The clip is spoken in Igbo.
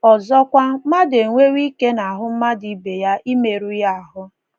Ọzọkwa, ‘ mmadụ enwewo ike n’ahụ́ mmadụ ibe ya imerụ ya ahụ́ '.